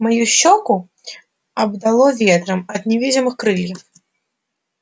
мою щёку обдало ветром от невидимых крыльев